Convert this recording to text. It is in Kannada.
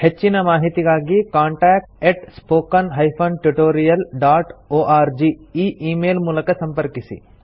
ಹೆಚ್ಚಿನ ಮಾಹಿತಿಗಾಗಿ ಕಾಂಟಾಕ್ಟ್ spoken tutorialorg ಈ ಈ ಮೇಲ್ ಮೂಲಕ ಸಂಪರ್ಕಿಸಿ